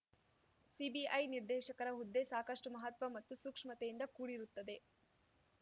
CBI ನಿರ್ದೇಶಕರ ಹುದ್ದೆ ಸಾಕಷ್ಟುಮಹತ್ವ ಮತ್ತು ಸೂಕ್ಷ್ಮತೆಯಿಂದ ಕೂಡಿರುತ್ತದೆ